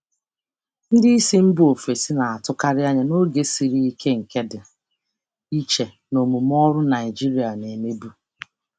Ndị oga si mba ọzọ na-achọkarị ịbịa n'oge siri ike, nke dị iche na omume ọrụ Naịjirịa a na-emekarị.